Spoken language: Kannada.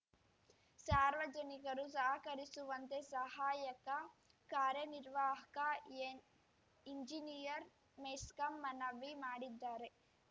ಸಾರ್ವಜನಿಕರು ಸಹಕರಿಸುವಂತೆ ಸಹಾಯಕ ಕಾರ್ಯನಿರ್ವಾಹಕ ಎಂ ಇಂಜಿನಿಯರ್‌ ಮೆಸ್ಕಾಂ ಮನವಿ ಮಾಡಿದ್ದಾರೆ